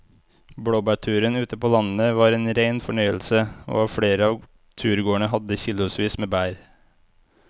Blåbærturen ute på landet var en rein fornøyelse og flere av turgåerene hadde kilosvis med bær.